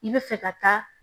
I bɛ fɛ ka taa